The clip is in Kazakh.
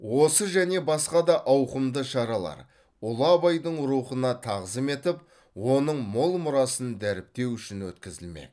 осы және басқа да ауқымды шаралар ұлы абайдың рухына тағзым етіп оның мол мұрасын дәріптеу үшін өткізілмек